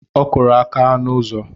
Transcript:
Ọ kụrụ aka n'ụzọ